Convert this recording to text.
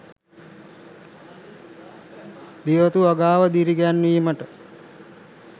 ගෙවතු වගාව දිරිගැන්වීමට